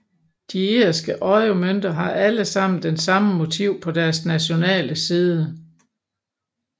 De irske euromønter har alle sammen det samme motiv på deres nationale side